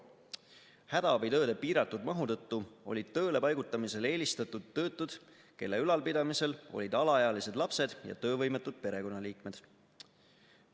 Hädaabitööde piiratud mahu tõttu olid tööle paigutamisel eelistatud töötud, kelle ülalpidamisel olid alaealised lapsed ja töövõimetud perekonnaliikmed.